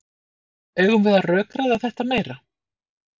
Eigum við að rökræða þetta meira?